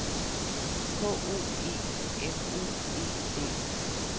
K O E F O E D